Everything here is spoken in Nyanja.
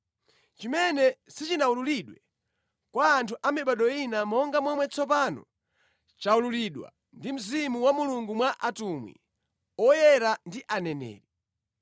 chimene sichinawululidwe kwa anthu amibado ina monga momwe tsopano chawululidwa ndi Mzimu wa Mulungu mwa atumwi oyera ndi aneneri.